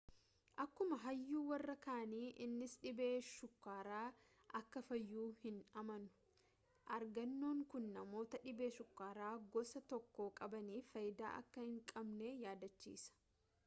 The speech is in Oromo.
akkuma hayyuu warra kaanii innis dhibeen shukkaaraa akka fayyu hin amanu argannoon kuni namoota dhibee shukkaara gosa 1 qabaniif faayidaa akka hin qabne yaadachiisa